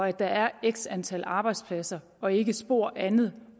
at der er x antal arbejdspladser og ikke spor andet